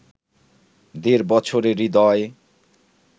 দেড় বছরের হৃদয়